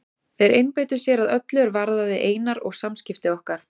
Þeir einbeittu sér að öllu er varðaði Einar og samskipti okkar.